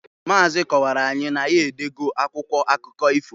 Maazị kọwaara anyị na ya edo go akwụkwọ akụkọ ifo.